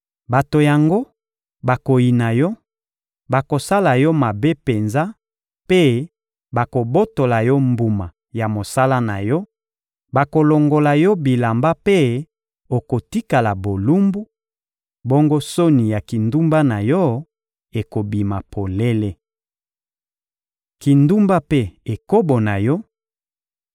Bato yango bakoyina yo, bakosala yo mabe penza mpe bakobotola yo mbuma ya mosala na yo; bakolongola yo bilamba mpe okotikala bolumbu, bongo soni ya kindumba na yo ekobima polele. Kindumba mpe ekobo na yo